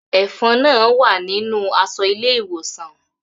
Ẹfọn náà wa ninu aṣọ ile-iwosan.